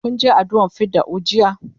kun Je addu'a r fidda'u jiya?